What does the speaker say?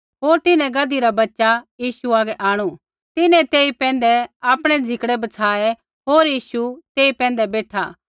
होर तिन्हैं गधी रा बच्च़ा यीशु हागै आंणु तिन्हैं तेई पैंधै आपणै झिकड़ै बछाये होर यीशु तेई पैंधै बेठा